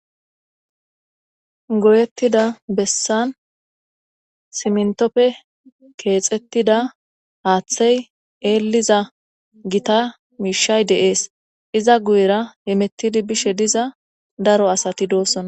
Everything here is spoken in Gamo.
goyettida bessan siiimentoppe keexettida haaththey eeliza gita miishay de7es iza guyera hemettidi bishe diza daro asati doosonta